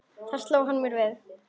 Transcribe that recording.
Þar sló hann mér við.